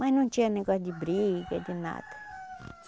Mas não tinha negócio de briga, de nada.